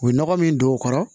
U ye nɔgɔ min don o kɔrɔ